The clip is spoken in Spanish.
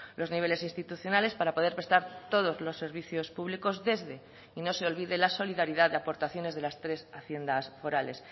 los niveles institucionales para poder prestar todos los servicios públicos desde y no se olvide la solidaridad de aportaciones de las tres haciendas forales